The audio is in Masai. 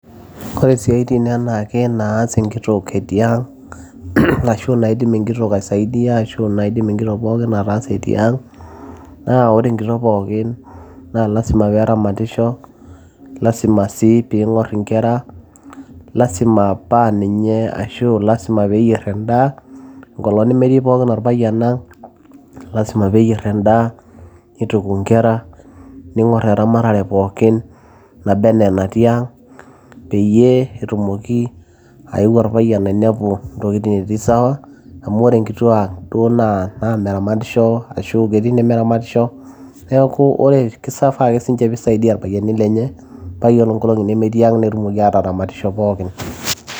ore isiaitin enaake naas enkitok etii ang ashu naidim enkitok aisaidia ashu naidim enkitok pookin ataasa etii ang naa ore enkitok pookin naa lasima peeramatisho lasima sii piing'orr inkera lasima paaninye ashu lasima peeyierr endaa enkolong nemetii pookin orpayian ang lasima peyierr endaa nituku inkera ning'orr eramatare pookin naba ena natii ang peyie etumoki ayeu orpayian ainepu intokitin etii sawa amu ore inkituak duo naa meramatisho ashua ketii inemeramatisho neeku ore kifaa ake sinche piisaidia irpayieni lenye paa yiolo inkolong'i nemetii ang netumoki ataramat isho pookin.